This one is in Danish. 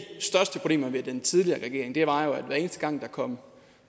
største problemer med den tidligere regering var jo at hver eneste gang der kom